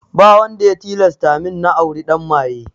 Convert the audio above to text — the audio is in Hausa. Ba wanda ya tilasta min na auri ɗan maye